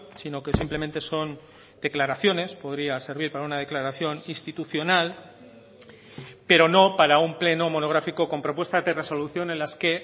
sino que simplemente son declaraciones podría servir para una declaración institucional pero no para un pleno monográfico con propuestas de resolución en las que